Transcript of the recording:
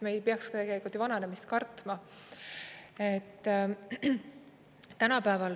Me ei peaks ju vananemist kartma.